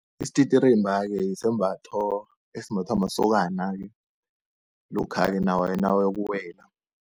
Isititirimba-ke yisembatho esimbathwa masokana-ke, lokha-ke nawayokuwela.